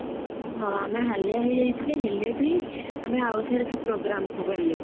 ହଁ ଆମେ ହାଲିଆ ହେଇଯାଇଥିଲେ ହେଲେ ବି ଆମେ ଆଉ ଥରେସେ programme କୁ ଗଲେ